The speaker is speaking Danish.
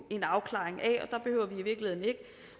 en afklaring af